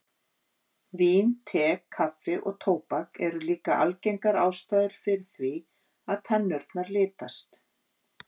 Vín, te, kaffi og tóbak eru líka algengar ástæður fyrir því að tennurnar litast.